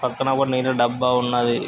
పక్కన ఒక నీరు డబ్బా ఉన్నదీ.